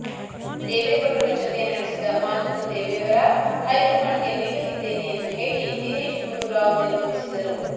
ದೇವೇಗೌಡರ ಜತೆ ನಡೆಸಿದ ಮಾತುಕತೆ ವಿವರ ಹೈಕಮಾಂಡ್ಗೆ ನೀಡಲಿದ್ದೇನೆ ಎಂದು ಹೇಳಿ ದಿನೇಶ್ ಗುಂಡೂರಾವ್ ನಿರ್ಗಮಿಸಿದರು